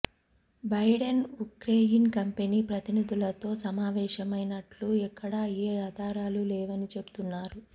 Biden Ukraine company ప్రతినిధులతో సమావేశమైనట్లు ఎక్కడా ఏ ఆధారాలు లేవని చెబుతున్నారు